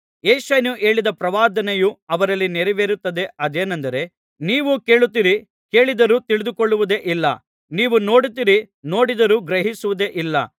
ಯೆಶಾಯನು ಹೇಳಿದ ಪ್ರವಾದನೆಯು ಅವರಲ್ಲಿ ನೆರವೇರುತ್ತದೆ ಅದೇನೆಂದರೆ ನೀವು ಕೇಳುತ್ತೀರಿ ಕೇಳಿದರೂ ತಿಳಿದುಕೊಳ್ಳುವುದೇ ಇಲ್ಲ ನೀವು ನೋಡುತ್ತೀರಿ ನೋಡಿದರೂ ಗ್ರಹಿಸುವುದೇ ಇಲ್ಲ